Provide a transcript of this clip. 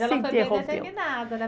Mas ela não foi bem determinada, né?